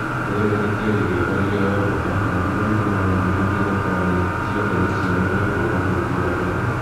Rĩera rĩtiarĩ rĩega rĩrĩa yombga na thigari nĩmahinyĩrĩirie thabarĩ cai ndege ciao nĩũndũ wa ũthũku wa rĩera